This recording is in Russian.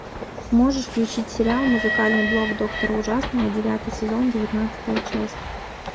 можешь включить сериал музыкальный блок доктора ужасного девятый сезон девятнадцатая часть